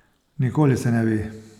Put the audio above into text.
Nikoli se ne ve.